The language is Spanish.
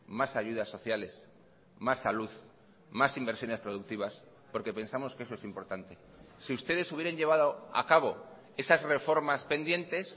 más ayudas sociales más salud más inversiones productivas porque pensamos que eso es importante si ustedes hubieran llevado a cabo esas reformas pendientes